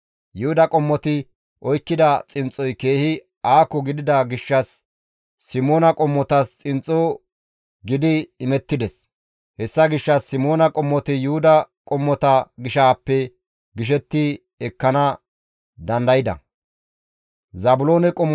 Yuhuda qommoti oykkida xinxxoy keehi aako gidida gishshas Simoona qommotas xinxxo gidi imettides; hessa gishshas Simoona qommoti Yuhuda qommota gishaappe gishetti ekkana dandayda.